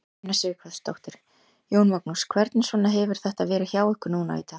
Una Sighvatsdóttir: Jón Magnús, hvernig svona hefur þetta verið hjá ykkur núna í dag?